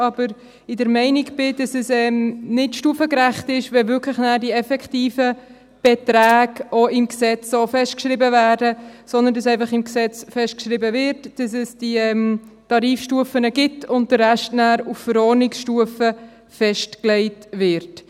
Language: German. Aber ich bin der Meinung, dass es nicht stufengerecht ist, wenn die effektiven Beträge dann auch wirklich so im Gesetz festgeschrieben werden, sondern dass einfach im Gesetz festgeschrieben wird, dass es diese Tarifstufen gibt, und der Rest nachher auf Verordnungsstufe festgelegt wird.